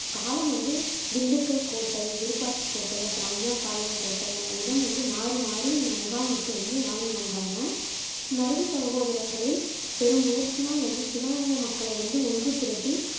காலம் வந்து திண்டுக்கல் கோட்டை, விருப்பாட்சிக் கோட்டை, அப்பறம் அய்யம்பாளையம் கோட்டை என இடம் வந்து மாறி மாறி முகாமிட்டு வாழ்ந்து வந்தாங்க. மருது சகோதரர்களின் பெரும் முயற்சியினால் வந்து சிவகங்கை மக்களை வந்து ஒன்று திரட்டி